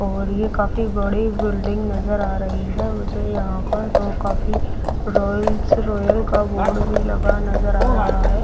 और ये काफी बड़ी बिल्डिंग नजर आ रही है मुझे यहां पर तो काफी रॉयल्स रॉयल का बोर्ड लगा नजर आ रहा है।